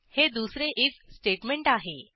हे दुसरे IF statement आहे